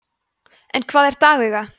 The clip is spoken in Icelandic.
en hvað er dagauga